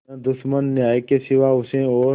न दुश्मन न्याय के सिवा उसे और